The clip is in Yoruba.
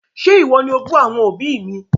Ṣe iwọ ni o bù àwọn òbí mi?